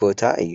ቦታ እዩ፡፡